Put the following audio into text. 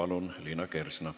Liina Kersna, palun!